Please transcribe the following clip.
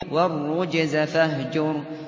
وَالرُّجْزَ فَاهْجُرْ